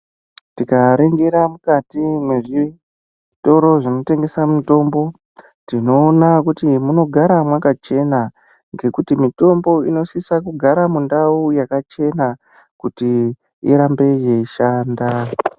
Tikaningira mukati mezvitoro zvinotengesa mitombo tinoona kuti munogara makachena ngekuti mitombo inosisa kugara mundau yakachena kuti irambe yeishanda.